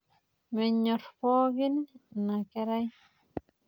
Menyorr pookin ina kerai.